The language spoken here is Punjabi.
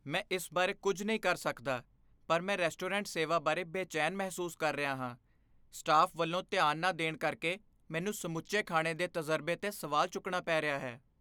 ਮੈਂ ਇਸ ਬਾਰੇ ਕੁੱਝ ਨਹੀਂ ਕਰ ਸਕਦਾ ਪਰ ਮੈਂ ਰੈਸਟੋਰੈਂਟ ਸੇਵਾ ਬਾਰੇ ਬੇਚੈਨ ਮਹਿਸੂਸ ਕਰ ਰਿਹਾ ਹਾਂ, ਸਟਾਫ਼ ਵੱਲੋਂ ਧਿਆਨ ਨਾ ਦੇਣ ਕਰਕੇ ਮੈਨੂੰ ਸਮੁੱਚੇ ਖਾਣੇ ਦੇ ਤਜ਼ਰਬੇ 'ਤੇ ਸਵਾਲ ਚੁੱਕਣਾ ਪੈ ਰਿਹਾ ਹੈ।